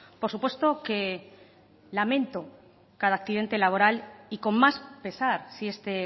por supuesto que lamento cada accidente laboral y con más pesar si este